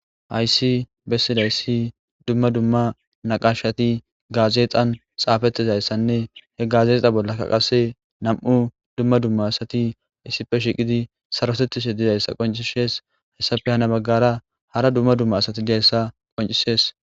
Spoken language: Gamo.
Ayssi bessidayssi dumma dumma naqashati gaazeexan xaafetizayssanne he gazexa bollakka qase nam'u dumma dumma asati issife shiqidi sarotettishe dizayssa qoncishees hayssafe hana baggara hara dumma dumma asati dizayssa qoncisees.